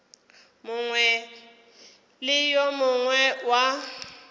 mongwe le yo mongwe wa